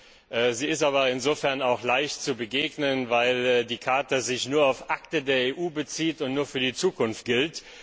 Ihr ist aber insofern auch leicht zu begegnen, weil die Charta sich nur auf Akte der EU bezieht und nur für die Zukunft gilt.